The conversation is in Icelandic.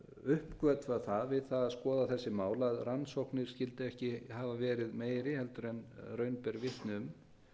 uppgötva það við það að skoða þessi mál að rannsóknir skyldu ekki hafa verið meiri en raun ber vitni